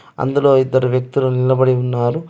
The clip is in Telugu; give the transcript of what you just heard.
అందులో ఇద్దరు వ్యక్తులు నిలబడి ఉన్నారు.